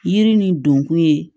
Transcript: Yiri nin donkun ye